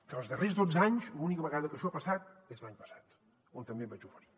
que els darrers dotze anys l’única vegada que això ha passat és l’any passat on també em vaig oferir